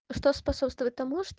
что способствует тому что